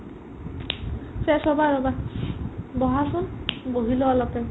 fresh হ'বা ৰ'বা বহাচোন বহি লোৱা অলপ time